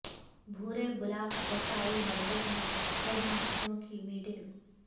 بھو رے بلاک وسائل مرکز میں ہیڈ ماسٹروں کی میٹنگ